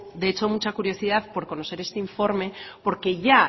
de hecho mucha curiosidad por conocer este informe porque ya